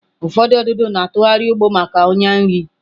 Ụfọdụ ududo na-atụgharị ụgbụ maka ọnyà nri.